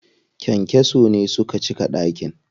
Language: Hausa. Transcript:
Kyankyason ne suka cika ɗakin.